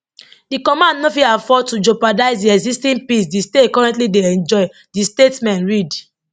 di command no fit afford to jeopardize di existing peace di state currently dey enjoy di statement read